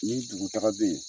Nin dugu taga bɛ yen